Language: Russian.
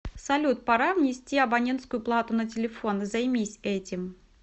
салют пора внести абонентскую плату на телефон займись этим